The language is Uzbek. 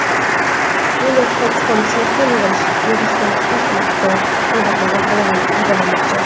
Shuningdek, Foxconn smartfon yig‘ishda ilk bor robotlardan foydalanmoqchi.